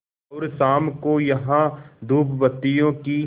और शाम को यहाँ धूपबत्तियों की